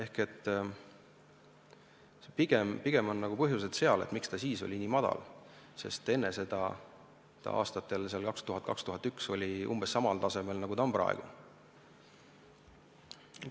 Nii et pigem tuleks vaadata põhjusi, miks raiemaht oli siis nii väike, sest enne seda – aastatel 2000 ja 2001 – oli ta umbes samal tasemel, nagu ta on praegu.